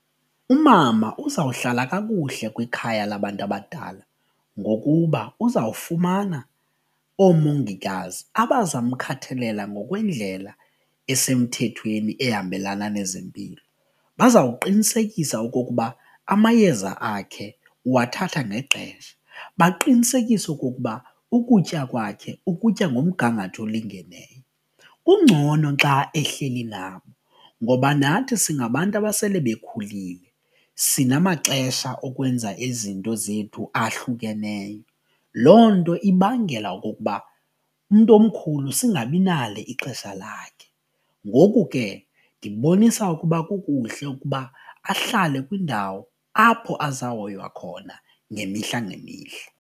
Umama uzawuhlala kakuhle kwikhaya labantu abadala ngokuba uzawufumana oomongikazi abazamkhathalela ngokwendlela esemthethweni ehambelana nezempilo, bazawuqinisekisa okokuba amayeza akhe uwathatha ngexesha, baqinisekise okokuba ukutya kwakhe ukutya ngomgangatho olingeneyo. Kungcono xa ehleli nabo ngoba nathi singabantu abasele bekhulile sinamaxesha okwenza izinto zethu ahlukeneyo loo nto ibangela okokuba umntu omkhulu singabi nalo ixesha lakhe ngoku ke ndibonisa ukuba kukuhle ukuba ahlale kwindawo apho azawuhoywa khona ngemihla ngemihla.